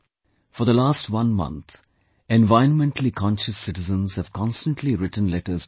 For the last one month, environmentally conscious citizens have constantly written letters to me